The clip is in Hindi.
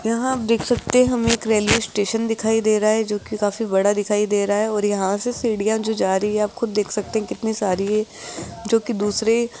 यहां आप देख सकते हमें एक रेलवे स्टेशन दिखाई दे रहा है जो की काफी बड़ा दिखाई दे रहा है और यहां से सीढ़ियां जो जा रही हैं आप खुद देख सकते हैं कितनी सारी जो की दूसरे --